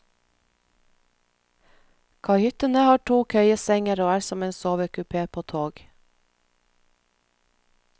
Kahyttene har to køyesenger og er som en sovekupé på tog.